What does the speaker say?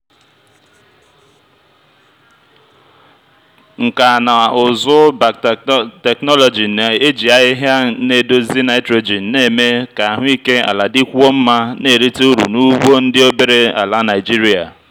nkà na ụzụ biotechnology na-eji ahịhịa na-edozi nitrogen na-eme ka ahụike ala dịkwuo mma na-erite uru n'ugbo ndị obere ala naijiria